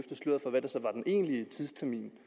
egentlige tidstermin